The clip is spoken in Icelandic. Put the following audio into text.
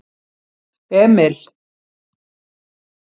Emil